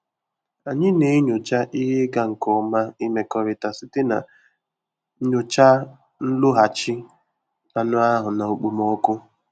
Anyị na-enyocha ihe ịga nke ọma imekọrịta site na nyochaa nlọghachi anụ ahụ na okpomọkụ.